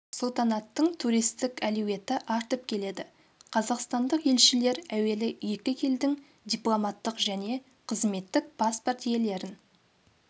сұлтанаттың туристік әлеуеті артып келеді қазақстандық елшілер әуелі екі елдің дипломаттық және қызметтік паспорт иелерін